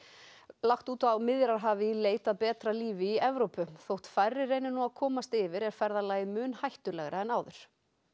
lagt út á Miðjarðarhafið í leit að betra lífi í Evrópu þótt færri reyni nú að komast yfir er ferðalagið mun hættulegra en áður